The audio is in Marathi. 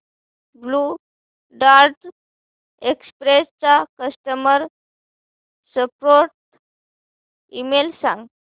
ब्ल्यु डार्ट एक्सप्रेस चा कस्टमर सपोर्ट ईमेल सांग